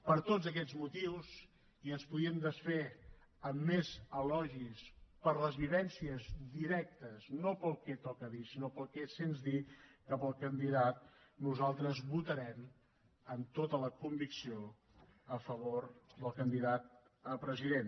per tots aquests motius i ens podríem desfer en més elogis per les vivències directes no pel que toca dir sinó pel que sents dir cap al candidat nosaltres votarem amb tota la convicció a favor del candidat a president